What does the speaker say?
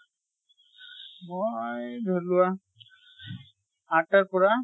মই ধৰি লোৱা আঠাৰ পৰা